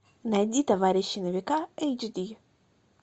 найди товарищи на века эйч ди